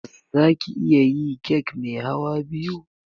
Zaki iya yi kek mai hawa biya?